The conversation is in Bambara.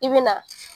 I bɛ na